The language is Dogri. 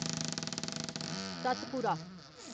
सतपुरा